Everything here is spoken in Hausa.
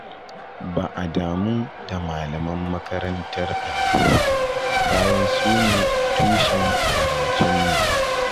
Ba a damu da malaman makarantar allo ba, bayan sune tushen karatunmu.